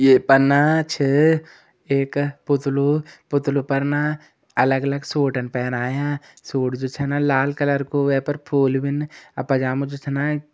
ये पर ना छ एक पुतलु पुतलु पर ना अलग अलग सूटन पैरायां सूट जु छन लाल कलर को वे पर फूल भीन और पजामा जो छ ना --